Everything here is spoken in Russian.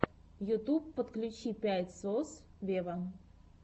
ютюб подключи пять сос вево